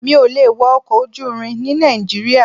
Mi ò lè wọ ọkọ̀ ojú irin ní Nàìjíríà.